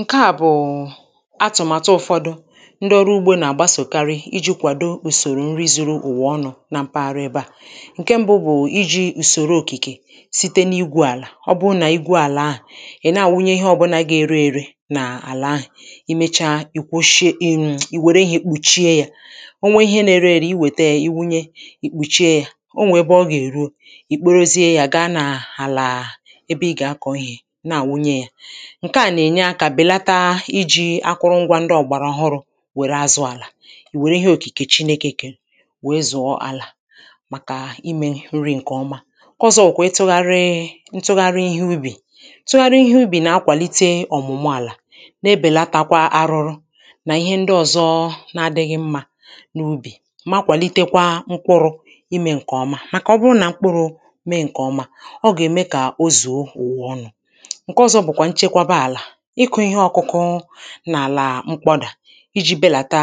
Ǹke à bụ̀ atụ̀màtụ ụ̀fọdụ ndị ọrụ ugbō nà-àgbasòkari ijī kwàdo ùsòrò nri zuru ụ̀wà ọnụ̄ na mpaghara ebe à, ǹke mbụ bụ̀ ijī ùsòro òkìkè site n’igwū àlà ọ bụ nà igwu o àlà ahu ị̀ na-àwụnye ihe ọ̀bụnā ga-ere ere nà àlà ahu,̀ ị mecha ị kpochie ị̀ wère ihē kpùchie yā o nwe ihe na-ere ere ị wète yē ị wụnye ị kpùchie ya o nwè ebe ọ gà-èruo ị̀ kporozie yā ga nà àlà ebe ị gà-akọ ihē na àwụnye ya ǹke à nà-ènye akā bèlata ijī akụrụ ngwā ndị ọ̀gbàrà ọhụrụ̄ wère azụ̄ àlà, ị̀ wère ihe òkìkè Chinēkē kè wee zụ̀ọ àlà màkà imē nri ǹkè ọma. Nke ọzọ wụ̀kwa ịtụ̄gharị ntụgharị ihe ubì: ntụgharị ihe ubì nà-akwàlite ọ̀mụ̀mụ àlà na-ebèlatakwa arụrụ nà ihe ndị ọzọ na adịghī mmā n’ubì ma kwàlitekwa mkpụrụ̄ imē ǹkè ọma màkà ọ bụ nà mkpụrụ̄ me ǹkè ọma ọ gà-ème kà o zùo ụ̀wà ọnụ.̄ Nke ọzọ bụ̀kwà nchekwaba àlà ịkụ̄ ihe ọkụkụ n’àlà mkpọdà ijī belàta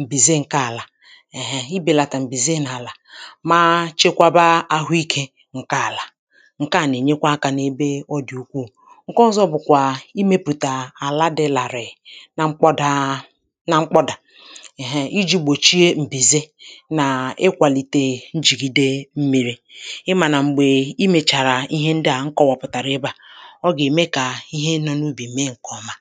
m̀bìze ǹke àlà ehe um ibèlàtà m̀bìze n’àlà ma chekwaba àhụikē ǹke àlà ǹke à nà-ènyekwa akā n’ebe ọ dị̀ ukwuù, ǹke ọzọ bụ̀kwà imēpụ̀tà àla dị làrì na mkpọdā na mkpọdà um ijī gbòchie m̀bìze nà ịkwàlìtè njìgide mmīri ị mà nà m̀gbè ị mèchàrà ihe ndị à m kọwàpụ̀tàrà ebe à ọ gà-ème kà ihe nọ n’ubì me ǹkè ọma